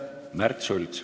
Märt Sults.